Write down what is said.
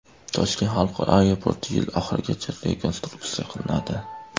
Toshkent xalqaro aeroporti yil oxirigacha rekonstruksiya qilinadi.